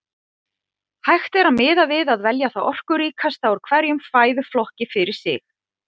Hægt er að miða við að velja það orkuríkasta úr hverjum fæðuflokki fyrir sig.